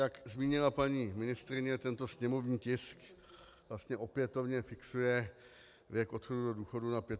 Jak zmínila paní ministryně, tento sněmovní tisk vlastně opětovně fixuje věk odchodu do důchodu na 65 let.